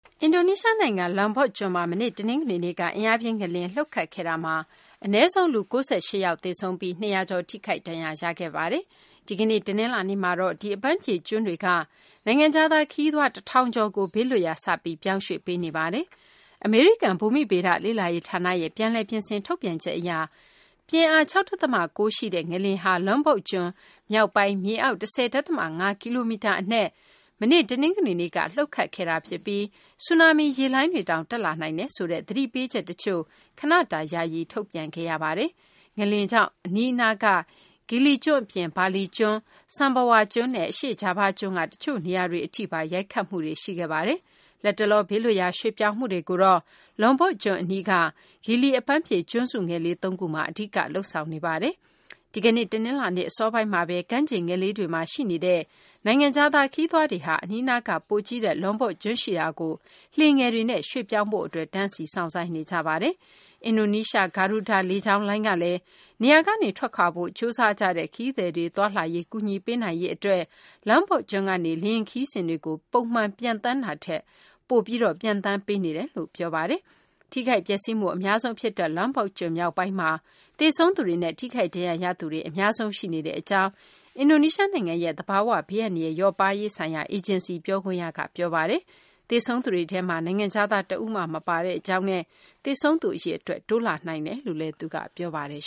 အင်ဒိုနီးရှားနိုင်ငံ Lombok ကျွန်းမှာ လူပေါင်း ၉၈ ယောက်ထက်မနည်း သေဆုံးခဲ့ရပြီး ၂၀၀ ကျော် ထိခိုက်ဒဏ်ရာ ရခဲ့တဲ့ အင်အားပြင်း ငလျင် လှုပ်ခဲ့ပြီး နောက်တရက် ဒီကနေ့မှာတော့ ဒီ အပန်းဖြေကျွန်းမှာရှိတဲ့ နိုင်ငံခြားခရီးသွား တထောင်ကျော်ကို ဘေးလွတ်ရာ ရွှေ့ပြောင်းမှုတွေ စတင်လုပ်ဆောင်နေပါတယ်။ အမေရိကန် ဘူမိဘေဒ လေ့လာရေးဌာနရဲ့ ပြန်လည် ပြင်ဆင် ထုတ်ပြန်ချက်အရ ပြင်းအား ၆.၉ ရှိတဲ့ ငလျင်ဟာ Lombok ကျွန်း မြောက်ပိုင်း မြေအောက် ၁၀.၅ ကီလိုမီတာ အနက်မှာ တနင်္ဂနွေနေ့က လှုပ်ခဲ့တာဖြစ်ပြီး ဆူနာမီ ရေလှိုင်းတွေတောင် တက်လာနိုင်တယ်ဆိုတဲ့ သတိပေးချက်တချို့ ခဏတာယာယီ ထုတ်ပြန်ခဲ့ရပါတယ်။ ငလျင်ကြောင့် အနီးနားက Gili ကျွန်းအပြင် ဘာလီကျွန်း၊ Sumbawa ကျွန်းနဲ့ အရှေ့ဂျာဗားကျွန်းက တချို့နေရာတွေအထိပါ ရိုက်ခတ်မှုတွေ ရှိခဲ့ပါတယ်။ လတ်တလော ဘေးလွတ်ရာ ရွှေ့ပြောင်းမှုတွေကိုတော့ Lombok ကျွန်းအနီးက Gili အပန်းဖြေ ကျွန်းစုငယ်လေး သုံးခုမှာ အဓိက လုပ်ဆောင်နေတာပါ။ ဒီကနေ့ တနင်္လာနေ့ အစောပိုင်းမှာပဲ ကမ်းခြေငယ်လေးတွေမှာ ရှိနေတဲ့ နိုင်ငံခြားသား ခရီးသွားတွေဟာ အနီးနားက ပိုကြီးတဲ့ Lonbok ကျွန်းရှိရာကို လှေငယ်တွေနဲ့ ရွှေ့ပြောင်းဖို့အတွက် တန်းစီ စောင့်ဆိုင်းနေကြပါတယ်။ အင်ဒိုနီးရှား Garuda လေကြောင်းလိုင်းကလည်း နေရာကနေ ထွက်ခွာဖို့ ကြိုးစားကြတဲ့ ခရီးသွားတွေရဲ့ သွားလာရေး ကူညီပေးနိုင်ဖို့အတွက် Lombok ကျွန်းကနေ လေယာဉ်ခရီးစဉ်တွေကို ပုံမှန်ပြေးဆွဲတာထက် ပိုပြီး ပြေးဆွဲပေးနေတယ်လို့ ပြောပါတယ်။ ထိခိုက်ပျက်စီးမှု အများဆုံး ဖြစ်ခဲ့တဲ့ Lombok ကျွန်း မြောက်ပိုင်းမှာ သေဆုံး သူတွေနဲ့ ထိခိုက်ဒဏ်ရာ ရသူတွေ အများဆုံး ရှိနေတဲ့အကြောင်း အင်ဒိုနီးရှားနိုင်ငံရဲ့ သဘာ၀ ဘေးအန္တရာယ် လျော့ပါးရေးဆိုင်ရာ အေဂျင်စီ ပြောခွင့်ရ Sutopo Purwo Nugroho က ပြောပါတယ်။ သေဆုံးသူတွေထဲမှာ နိုင်ငံခြားသား တဦးမှ မပါဝင်ကြောင်းနဲ့ သေဆုံးသူ အရေအတွက် တိုးလာနိုင်ကြောင်းလည်း သူက ပြောပါတယ်